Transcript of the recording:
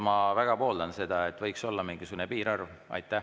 Ma väga pooldan seda, et võiks olla mingisugune piirarv.